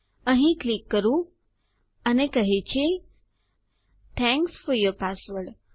અહીં ક્લિક કરું અને તે કહે છે થેંક્સ ફોર યૂર પાસવર્ડ